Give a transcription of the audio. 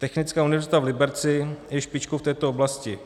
Technická univerzita v Liberci je špičkou v této oblasti.